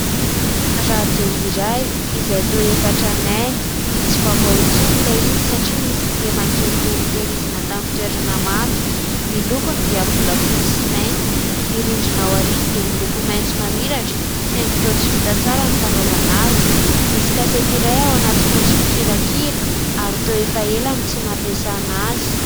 Radio iray izay toa efa tranainy, tsy vaovao intsony ilay izy satria misy kilema kely toy ny notehirizina tamin'ny toerana mando ; ny lokony dia volafotsy sy mainty, ny rindrina aoriany dia miloko maitso mamiratra saingy toa tsy vita tsara ny fanaovana azy ; misy kasety iray ao anaty fantso mpikirakira ary toa efa ela no tsy nampiasana azy.